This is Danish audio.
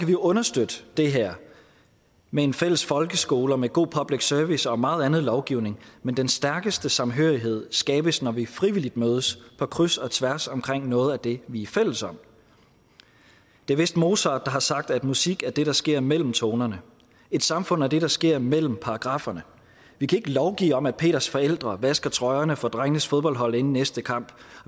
vi understøtte det her med en fælles folkeskole og med god public service og meget andet lovgivning men den stærkeste samhørighed skabes når vi frivilligt mødes på kryds og tværs omkring noget af det vi er fælles om det er vist mozart der har sagt at musik er det der sker mellem tonerne et samfund er det der sker mellem paragrafferne vi kan ikke lovgive om at peters forældre vasker trøjerne for drengenes fodboldhold inden næste kamp og